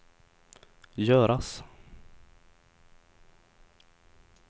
göras